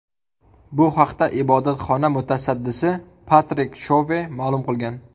Bu haqda ibodatxona mutasaddisi Patrik Shove ma’lum qilgan.